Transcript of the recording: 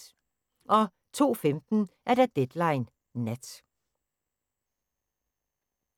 02:15: Deadline Nat